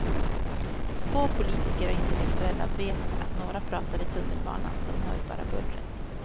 Få politiker och intellektuella vet att några pratar i tunnelbanan, de hör bara bullret.